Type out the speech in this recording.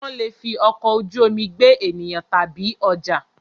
Wọ́n lè fi ọkọ̀ ojú omi gbé ènìyàn tàbí ọjà.